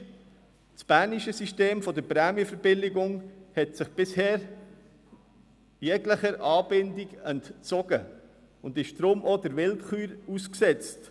: Das bernische System der Prämienverbilligungen hat sich bisher jeglicher Anbindung entzogen und ist deshalb auch der Willkür ausgesetzt.